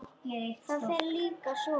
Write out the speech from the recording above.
Það fer líka svo.